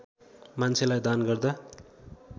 मान्छेलाई दान गर्दा